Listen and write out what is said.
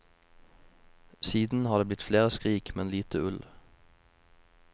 Siden har det blitt flere skrik, men lite ull.